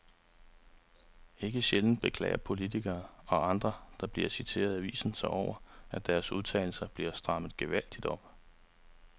Ikke sjældent beklager politikere og andre, der bliver citeret i aviserne sig over, at deres udtalelser bliver strammet gevaldigt op.